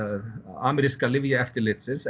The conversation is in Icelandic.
ameríska lyfjaeftirlitsins